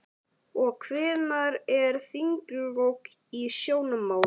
Og hvenær eru þinglok í sjónmáli?